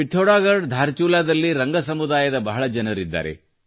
ಪಿಥೌರ್ಗಡ ದ ಧಾರಚುಲಾದಲ್ಲಿ ರಂಗ ಸಮುದಾಯದ ಬಹಳ ಜನರಿದ್ದಾರೆ